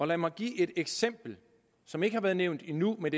lad mig give et eksempel som ikke har været nævnt endnu men